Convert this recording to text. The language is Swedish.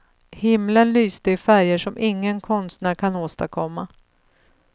Himlen lyste i färger som ingen konstnär kan åstadkomma.